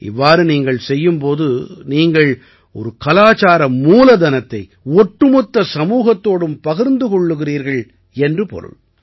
இவ்வாறு நீங்கள் செய்யும் போது நீங்கள் ஒரு கலாச்சார மூலதனத்தை ஒட்டுமொத்த சமூகத்தோடும் பகிர்ந்து கொள்கிறீர்கள் என்று பொருள்